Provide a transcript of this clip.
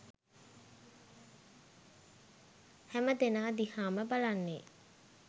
හැමදෙනා දිහාම බලන්නේ